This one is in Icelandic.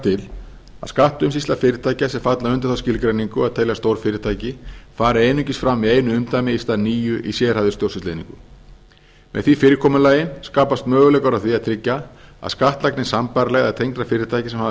til að skattaumsýsla fyrirtækja sem falla undir þá skilgreiningu að teljast stórfyrirtæki fari einungis fram í einu umdæmi í stað níu í sérhæfðri stjórnsýslueiningu með því fyrirkomulagi skapast möguleikar á að tryggja að skattlagning sambærilegra eða tengdra fyrirtækja sem hafa